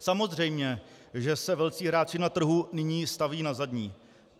Samozřejmě že se velcí hráči na trhu nyní stavějí na zadní.